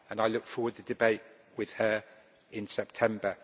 I look forward to the debate with her in September.